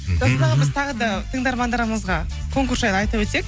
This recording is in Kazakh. біз тағы да тыңдармандарымызға конкурс жайлы айта өтсек